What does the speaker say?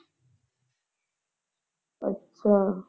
ਅੱਛਾ।